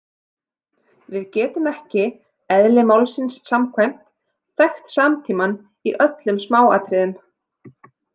Við getum ekki, eðli málsins samkvæmt, þekkt samtímann í öllum smáatriðum.